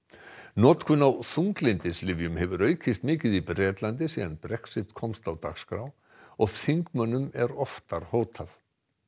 notkun á þunglyndislyfjum hefur aukist mikið í Bretlandi síðan Brexit komst á dagskrá og þingmönnum er oftar hótað